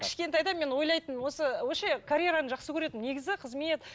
кішкентайда мен ойлайтынмын осы карьераны жақсы көретінмін негізі қызмет